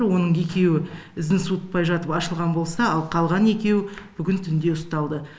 оның екеуі ізін суытпай жатып ашылған болса ал қалған екеуі бүгін түнде ұсталды